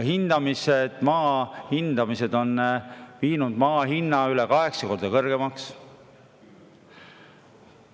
Ja maa hindamised on viinud maa hinna üle kaheksa korra kõrgemaks.